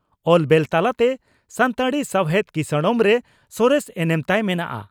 ᱚᱞ ᱵᱮᱞ ᱛᱟᱞᱟᱛᱮ ᱥᱟᱱᱛᱟᱲᱤ ᱥᱟᱣᱦᱮᱫ ᱠᱤᱥᱟᱹᱬᱢ ᱨᱮ ᱥᱚᱨᱮᱥ ᱮᱱᱮᱢ ᱛᱟᱭ ᱢᱮᱱᱟᱜᱼᱟ ᱾